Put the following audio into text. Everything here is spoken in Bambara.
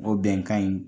O bɛnkan in